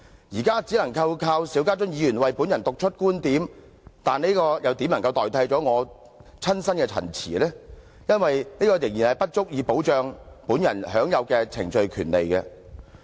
現在只能靠邵家臻議員為本人讀出觀點，但這又怎能替代本人親身的陳辭？因為這仍不足以保障本人享有的程序權利。